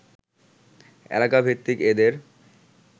এলাকাভিত্তিক এদের